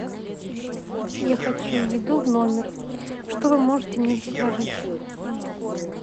я хочу еду в номер что вы можете мне предложить